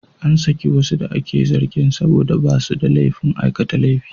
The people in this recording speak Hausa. An saki wasu da ake zargin saboda ba su da laifin aikata laifin.